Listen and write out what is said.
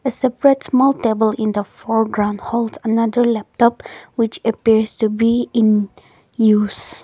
a separate more table in the program hold another laptop which appears to be in use.